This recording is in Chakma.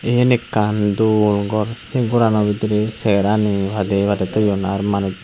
iyen ekkan dol gor sei gorano bidirey seyarani padeye padeye toyon ar manuj.